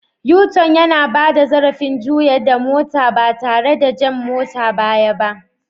U- tun na bada zarrafin juyar da mota ba tare da jan motan baya ba.